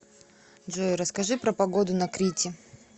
джой расскажи про погоду на крите